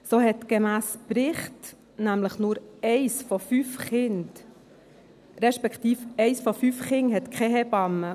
So hat gemäss Bericht eins von fünf Kindern keine Hebamme.